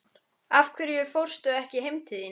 Af hverju fórstu ekki heim til þín?